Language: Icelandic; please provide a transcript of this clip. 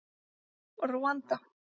Rúanda